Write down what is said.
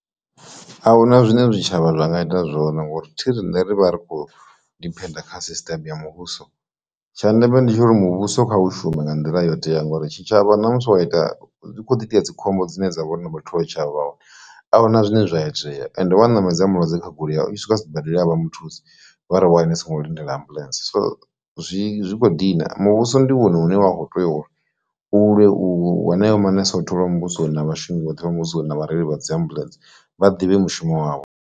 Ahuna zwine zwitshavha zwa nga ita zwone ngori thi rine ri vha ri khou diphenda kha system ya muvhuso tsha ndeme ndi tsha uri muvhuso kha u shuma nga nḓila yo itea ngori tshi tshavha ṋamusi wa ita hu kho ḓi itea dzikhombo dzine dza vha na vhathu vha tshavho ahuna zwine zwa itea and wa ṋamedza mulwadze kha goloi ya u swika sibadela avha muthusi vhari waini songo lindela ambulance, so zwi kho dina muvhuso ndi hone hune wa kho tea u lwe u wa nayo manese o tholiwaho muvhuso na vhashumi vhoṱhe vha muvhusoni na vhareili vha dzi ambulence vha ḓivhe mushumo wavho.